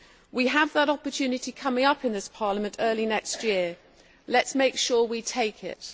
We have that opportunity coming up in this Parliament early next year. Let us make sure we take it.